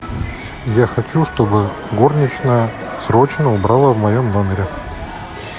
я хочу чтобы горничная срочно убрала в моем номере